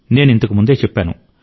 నేను ఇంతకు ముందే చెప్పాను